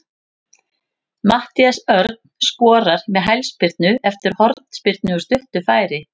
Matthías Örn skorar með hælspyrnu eftir hornspyrnu úr stuttu færi.